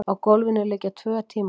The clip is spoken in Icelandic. Á gólfinu liggja tvö tímarit.